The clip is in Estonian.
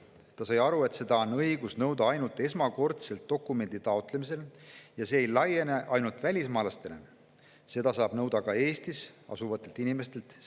Ta sai aru, et seda on õigus nõuda ainult esmakordselt dokumendi taotlemisel ja see ei laiene ainult välismaalastele, seda saab seaduseelnõu järgi nõuda ka Eestis asuvatelt inimestelt.